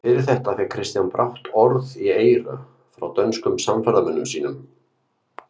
Fyrir þetta fékk Kristján brátt orð í eyra frá dönskum samferðamönnum sínum.